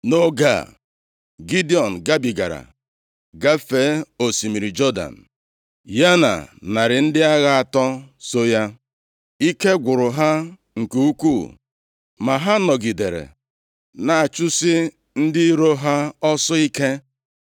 Nʼoge a, Gidiọn gabigara, gafee osimiri Jọdan, ya na narị ndị agha atọ so ya. Ike gwụrụ ha nke ukwuu ma ha nọgidere na-achụsi ndị iro ha ọsọ ike.